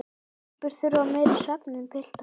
Telpur þurfa meiri svefn en piltar.